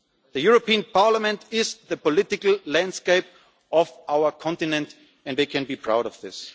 The European Parliament is the political landscape of our continent and they can be proud of this.